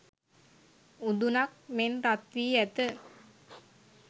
උඳුනක් මෙන් රත් වී ඇත.